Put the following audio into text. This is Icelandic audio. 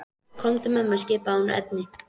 Komdu með mér skipaði hún Erni.